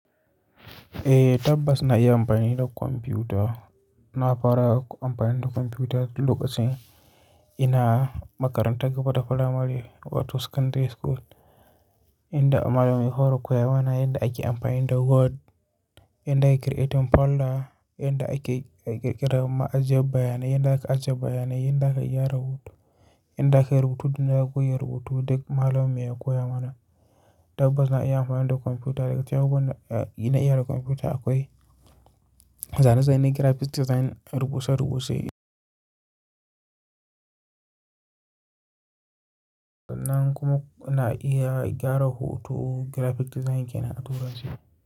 Eh tabbas na iya amfani da kwamfuta. Na fara amfani da kwamfuta lokacin ina makarantar gaba ta firamare wato secondary school, inda malamai sun koya mana yadda ake amfani da Word, yadda ake creating folder, yadda ake ƙirƙira ma ajiye bayanai, yadda aka ajiye bayanai, yadda aka iya rubutu, yadda aka rubutu duk da ya koyi rubutu duk malamai ya koya mana. Tabbas na iya amfani da kwamfuta. Daga cikin abubuwan ina iya da kwamfuta akwai zane-zane graphic design rubuce-rubuce. Nan kuma ina iya gyara hoton graphic design ke na turanci.